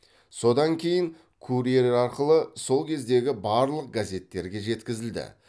содан кейін курьер арқылы сол кездегі барлық газеттерге жеткізілді